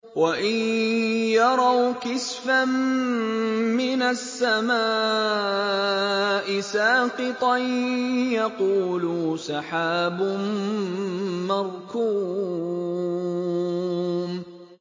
وَإِن يَرَوْا كِسْفًا مِّنَ السَّمَاءِ سَاقِطًا يَقُولُوا سَحَابٌ مَّرْكُومٌ